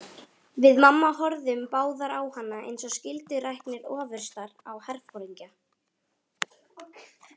Við mamma horfðum báðar á hana eins og skylduræknir ofurstar á herforingja.